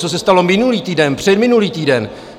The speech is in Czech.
Co se stalo minulý týden, předminulý týden?